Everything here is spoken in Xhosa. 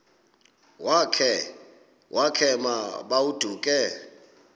wakhe ma baoduke